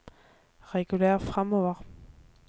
reguler framover